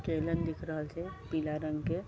दिख रहल छै पीला रंग के --